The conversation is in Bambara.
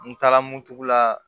N taara moto la